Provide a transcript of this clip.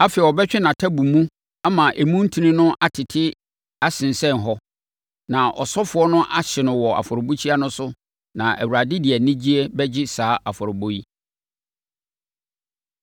Afei, ɔbɛtwe nʼatabu mu ama emu ntini no atete asensɛn hɔ. Na ɔsɔfoɔ no ahye no wɔ afɔrebukyia no so na Awurade de anigyeɛ bɛgye saa afɔrebɔ yi.